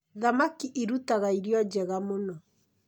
Thamaki irutaga irio njega mũno